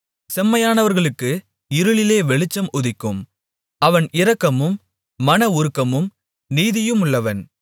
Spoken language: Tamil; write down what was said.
செம்மையானவர்களுக்கு இருளிலே வெளிச்சம் உதிக்கும் அவன் இரக்கமும் மனவுருக்கமும் நீதியுமுள்ளவன்